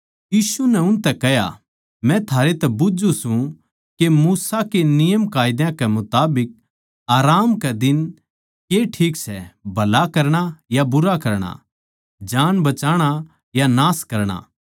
यीशु नै उनतै कह्या मै थारै तै बुझ्झू सूं के मूसा के नियमकायदा कै मुताबिक आराम कै दिन के ठीक सै भला करणा या बुरा करणा जान बचाणा या नाश करणा